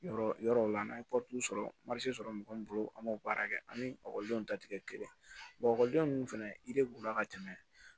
Yɔrɔ yɔrɔ la n'an ye sɔrɔ sɔrɔ mɔgɔ min bolo an b'o baara kɛ an ni ta ti kɛ kelen ye ekɔliden ninnu fɛnɛ la ka tɛmɛ